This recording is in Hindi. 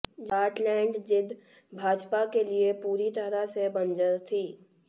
जाटलैंड जींद भाजपा के लिए पूरी तरह से बंजर थी